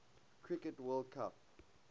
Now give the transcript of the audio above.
cricket world cup